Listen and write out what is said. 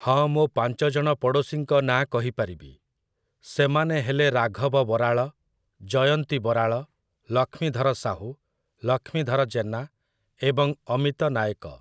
ହଁ ମୁଁ ପାଞ୍ଚଜଣ ପଡ଼ୋଶୀଙ୍କ ନାଁ କହିପାରିବି । ସେମାନେ ହେଲେ ରାଘବ ବରାଳ, ଜୟନ୍ତୀ ବରାଳ, ଲକ୍ଷ୍ମୀଧର ସାହୁ, ଲକ୍ଷ୍ମୀଧର ଜେନା ଏବଂ ଅମିତ ନାୟକ ।